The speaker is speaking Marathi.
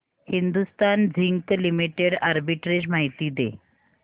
हिंदुस्थान झिंक लिमिटेड आर्बिट्रेज माहिती दे